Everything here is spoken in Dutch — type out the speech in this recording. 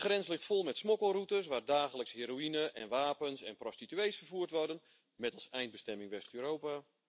De grens ligt vol met smokkelroutes waar dagelijks heroïne en wapens en prostituees vervoerd worden, met als eindbestemming West Europa.